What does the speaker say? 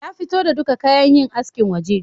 Ya fito da duka kayan yin askin waje